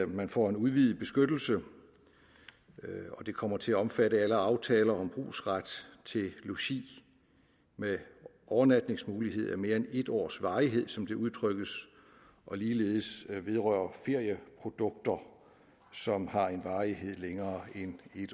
man får en udvidet beskyttelse og det kommer til at omfatte alle aftaler om brugsret til logi med overnatningsmulighed af mere end en års varighed som det udtrykkes og ligeledes vedrører ferieprodukter som har en varighed længere end en